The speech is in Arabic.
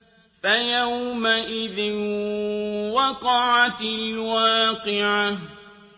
فَيَوْمَئِذٍ وَقَعَتِ الْوَاقِعَةُ